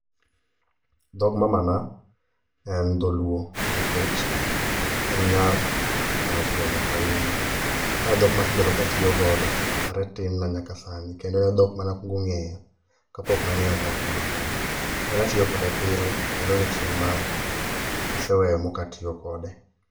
Dhog mamana en dholuo nikech en nyar karachuonyo kauma. Ma edhok ma asebedo ka atiyo godo are tinna nyaka sani kendo en edhok mane akuongo ng'eyo kapok ne ang'eyo dhok moro amora. En atiyo kode pile kendo onge chieng' ma aseweyo ma ok atiyo kode.